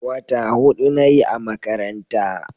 wata hudu nayi a makaranta